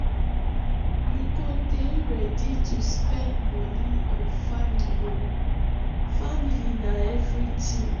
you go dey ready to spend moni on family o family na everytin.